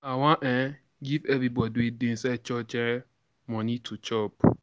I um wan give everybody wey dey inside church um money to chop.